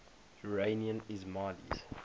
iranian ismailis